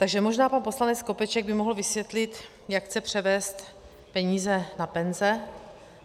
Takže možná pan poslanec Skopeček by mohl vysvětlit, jak chce převést peníze na penze.